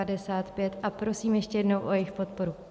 A prosím ještě jednou o jejich podporu.